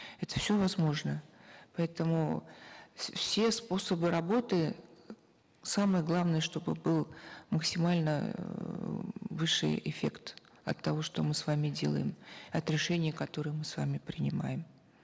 это все возможно поэтому все способы работы самое главное чтобы был максимально эээ высший эффект от того что мы с вами делаем от решения которое мы с вами принимаем